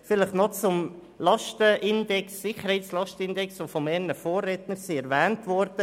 Folgendes noch zum Sicherheitslastenindex, der erwähnt wurde: